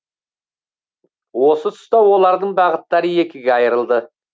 осы тұста олардың бағыттары екіге айырылды